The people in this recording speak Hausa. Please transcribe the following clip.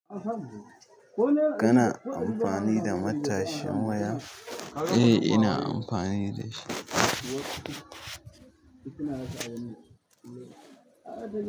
Kana amfani da matashin waya? Eh ina amfani dashi.